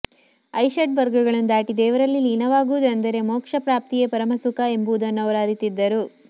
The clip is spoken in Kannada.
ಅರಿಷಡ್ವರ್ಗಗಳನ್ನು ದಾಟಿ ದೇವರಲ್ಲಿ ಲೀನವಾಗುವುದು ಅಂದರೆ ಮೋಕ್ಷ ಪ್ರಾಪ್ತಿಯೇ ಪರಮ ಸುಖ ಎಂಬುದನ್ನು ಅವರು ಅರಿತಿದ್ದರು